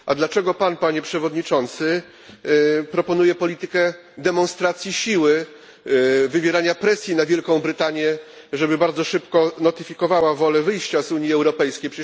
A dlaczego Pan, Panie Przewodniczący, proponuje politykę demonstracji siły, wywierania presji na Wielką Brytanię, żeby bardzo szybko notyfikowała wolę wyjścia z Unii Europejskiej?